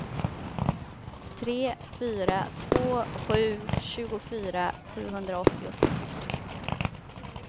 tre fyra två sju tjugofyra sjuhundraåttiosex